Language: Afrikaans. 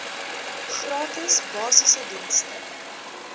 gratis basiese dienste